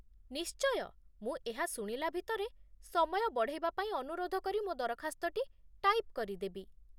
ନିଶ୍ଚୟ, ମୁଁ ଏହା ଶୁଣିଲା ଭିତରେ ସମୟ ବଢ଼େଇବା ପାଇଁ ଅନୁରୋଧ କରି ମୋ ଦରଖାସ୍ତଟି ଟାଇପ୍ କରିଦେବି।